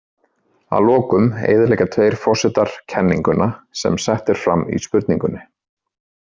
Að lokum eyðileggja tveir forsetar „kenninguna“ sem sett er fram í spurningunni.